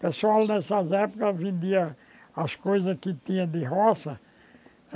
Pessoal nessas épocas vendia as coisas que tinha de roça.